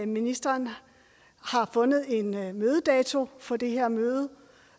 ministeren har fundet en mødedato for det her møde